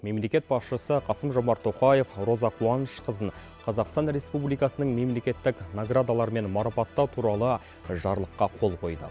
мемлекет басшысы қасым жомарт тоқаев роза қуанышқызын қазақстан республикасының мемлекеттік наградаларымен марапаттау туралы жарлыққа қол қойды